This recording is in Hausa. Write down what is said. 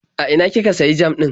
A ina kika sayi jam ɗin?